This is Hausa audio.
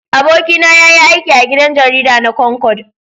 Abokina ya yi aiki a gidan jarida na Concord.